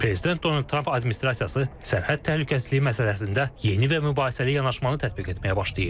Prezident Donald Trump administrasiyası sərhəd təhlükəsizliyi məsələsində yeni və mübahisəli yanaşmanı tətbiq etməyə başlayıb.